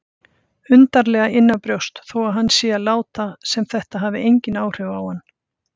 Undarlega innanbrjósts þó að hann sé að láta sem þetta hafi engin áhrif á hann.